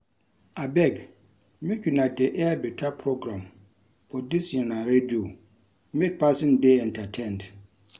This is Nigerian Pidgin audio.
Abeg make una dey air beta program for dis una radio make person dey entertained